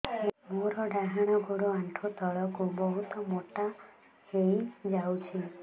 ମୋର ଡାହାଣ ଗୋଡ଼ ଆଣ୍ଠୁ ତଳକୁ ବହୁତ ମୋଟା ହେଇଯାଉଛି